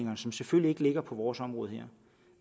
som selvfølgelig ikke ligger på vores område her